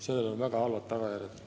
Sellel on väga halvad tagajärjed.